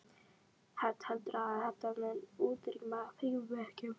Hödd: Heldurðu að þetta muni útrýma frímerkjum?